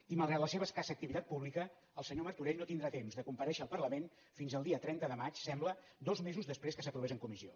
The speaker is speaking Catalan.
i malgrat la seva escassa activitat pública el senyor martorell no tindrà temps de comparèixer al parlament fins al dia trenta de maig sembla dos mesos després que s’aprovés en comissió